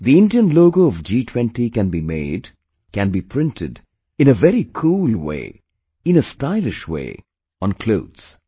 The Indian logo of G20 can be made, can be printed, in a very cool way, in a stylish way, on clothes